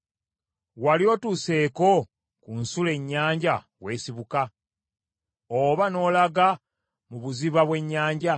“Wali otuuseeko ku nsulo ennyanja w’esibuka, oba n’olaga mu buziba bw’ennyanja?